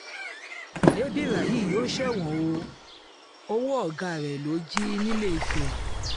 lébírà yìí yóò ṣẹ̀wọ̀n o ọwọ́ ọ̀gá rẹ̀ lọ jí nìlééfẹ̀